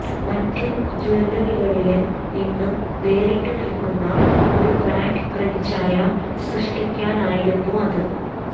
മറ്റു ജൂവലറികളില് നിന്ന് വേറിട്ടുനില്ക്കുന്ന ഒരു ബ്രാന്ഡ് പ്രതിച്ഛായ സൃഷ്ടിക്കാനായിരുന്നു അത്